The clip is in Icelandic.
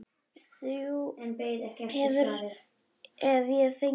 Þrjú hef ég fengið.